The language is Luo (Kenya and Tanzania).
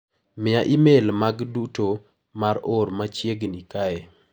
Miya imel maga duto ma oor machieg'ni kae.